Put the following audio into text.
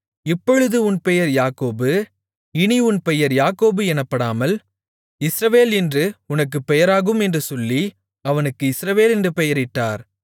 இப்பொழுது உன் பெயர் யாக்கோபு இனி உன் பெயர் யாக்கோபு எனப்படாமல் இஸ்ரவேல் என்று உனக்குப் பெயராகும் என்று சொல்லி அவனுக்கு இஸ்ரவேல் என்று பெயரிட்டார்